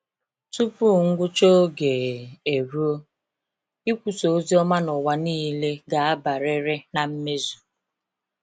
Tupu ngwụcha oge eruo, ikwusa ozioma n'ụwa niile ga-abiarịrị na mmezu